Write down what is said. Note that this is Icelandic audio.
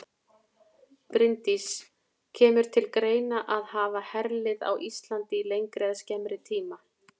Bryndís: Kemur til greina að hafa herlið á Íslandi í lengri eða skemmri tíma?